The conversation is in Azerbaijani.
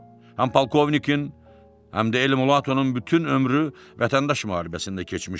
Həm polkovnikin, həm də Elmulatonun bütün ömrü vətəndaş müharibəsində keçmişdi.